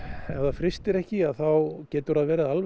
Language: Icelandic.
ef það frystir ekki þá getur það verið alveg